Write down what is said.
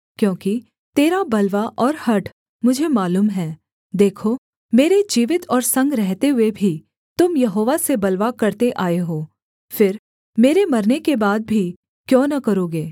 क्योंकि तेरा बलवा और हठ मुझे मालूम है देखो मेरे जीवित और संग रहते हुए भी तुम यहोवा से बलवा करते आए हो फिर मेरे मरने के बाद भी क्यों न करोगे